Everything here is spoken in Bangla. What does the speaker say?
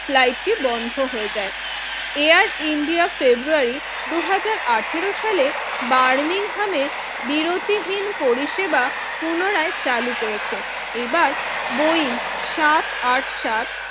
ফ্লাইটটি বন্ধ হয়ে যায় এয়ার ইন্ডিয়া ফেব্রুয়ারি দুই হাজার আঠারো সালে বার্নিং হামে বিরতিহীন পরিষেবা পুনরায় চালু করেছে এবার বই সাত আট সাত